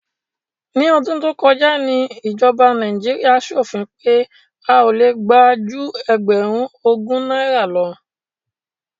Ní ọdún tó kọjá ni ìjọba Nàíjíríà ṣòfin pé a ò le gbà ju ẹgbẹ̀rún ogún náírà lọ.